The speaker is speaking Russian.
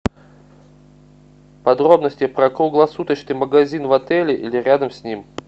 подробности про круглосуточный магазин в отеле или рядом с ним